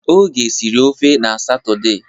Oge siri ofe n'Satọde.